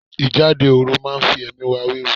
Ìjáde òru máa fi ẹ̀mí ẹ wéwu.